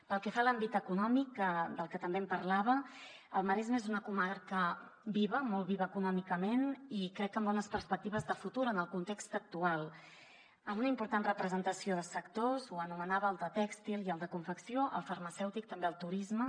pel que fa a l’àmbit econòmic del que també em parlava el maresme és una comarca viva molt viva econòmicament i crec que amb bones perspectives de futur en el context actual amb una important representació de sectors ho anomenava el de tèxtil i el de confecció el farmacèutic també el turisme